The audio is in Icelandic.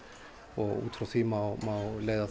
út frá því má leiða